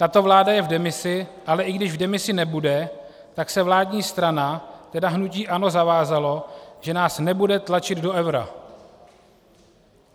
Tato vláda je v demisi, ale i když v demisi nebude, tak se vládní strana, tedy hnutí ANO, zavázala, že nás nebude tlačit do eura.